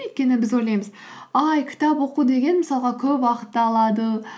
өйткені біз ойлаймыз ай кітап оқу деген мысалға көп уақытты алады